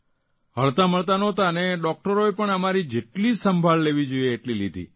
હળતા મળતા નહોંતા અને ડૉકટરોએ પણ અમારી જેટલી સંભાળ લેવી જોઇએ તેટલી લીધી